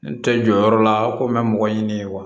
N tɛ jɔ yɔrɔ la ko n bɛ mɔgɔ ɲini wa